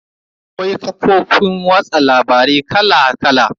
Akwai kafofin watsa labarai kala kala.